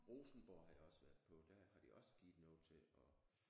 Rosenborg har jeg også været på der har de også givet noget til og